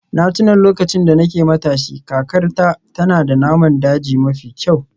Na tuna lokacin da nake matashi, kakarta tana da naman daji mafi kyau.